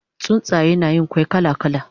Tsuntsaye na Yin kwai kala kala